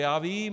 Já vím.